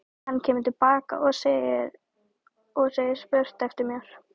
Hann kemur til baka og segir spurt eftir mér.